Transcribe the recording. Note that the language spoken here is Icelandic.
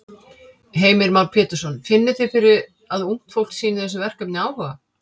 Heimir Már Pétursson: Finnið þið fyrir að ungt fólk sýnir þessu verkefni áhuga?